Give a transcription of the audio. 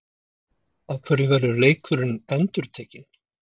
Af hverju verður leikurinn endurtekinn?